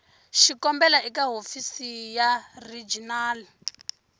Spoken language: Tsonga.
xikombelo eka hofisi ya regional